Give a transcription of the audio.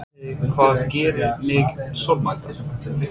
Vitiði hvað gerir mig sorgmæddan?